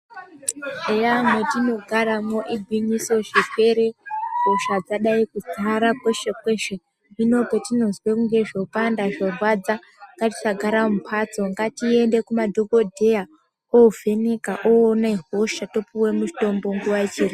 Eya mwotinogaramwo igwinyiso zvirwere ,hosha dzadai kudzara kweshe kweshe hino patinozwe kunge zvopanda zvorwadza, ngatisagara mumphatso ngatiende kumadhogodheya ovheneka owone hosha topiwe mitombo nguwa ichiripo.